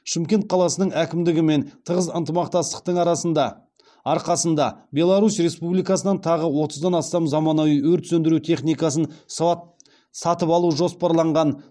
шымкент қаласының әкімдігімен тығыз ынтымақтастықтың арқасында беларусь республикасынан тағы отыздан астам заманауи өрт сөндіру техникасын сатып алу жоспарланған